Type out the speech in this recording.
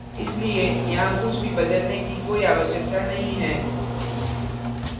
इसलिए यहाँ कुछ भी बदलने की कोई आवश्यकता नहीं है